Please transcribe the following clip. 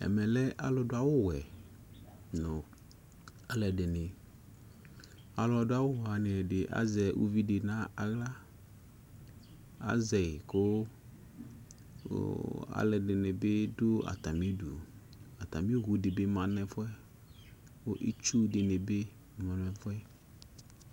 Ɛmɛ lɛ alʋ dʋ awʋ wɛ lʋ, alʋ ɛdιnι, alʋ dʋ awu wanι ɛdι azɛ uvi dι nʋ aɣla, azɛ yι kʋ ʋʋh alʋ ɛdι nι bι dʋ atamι udu Atamι owu dιnι bι ma nʋ ɛfʋ yɛ, kʋ itsuu dιnι bι ma nʋ ɛfʋ yɛ